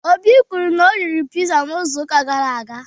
Obi kwuru na o riri pizza izu uka gara aga